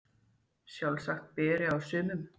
Sjálfsagt betri á sumum